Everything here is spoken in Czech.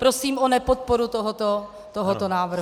Prosím o nepodporu tohoto návrhu.